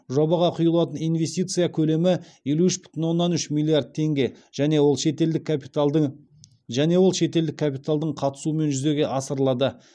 жобаға құйылатын инвестиция көлемі елу үш бүтін оннан үш миллиард теңге және ол шетелдік капиталдың және ол шетелдік капиталдың қатысуымен жүзеге асырылады